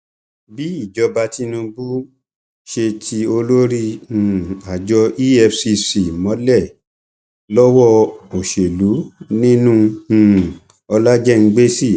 bí ìjọba tinubu ṣe ti olórí um àjọ efcc mọlẹ lọwọ òsèlú nínú um ọlájẹngbẹsì